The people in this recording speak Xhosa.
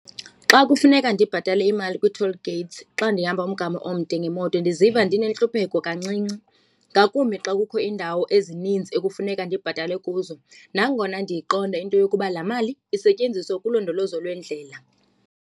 Xa kufuneka ndibhatale imali kwi-toll gates xa ndihamba umgama omde ngemoto ndiziva ndinentlupheko kancinci ngakumbi xa kukho iindawo ezininzi ekufuneka ndibhatale kuzo, nangona ndiyiqonda into yokuba laa mali isetyenziswa kulondolozo lweendlela.